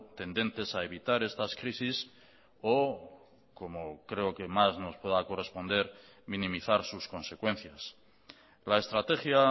tendentes a evitar estas crisis o como creo que más nos pueda corresponder minimizar sus consecuencias la estrategia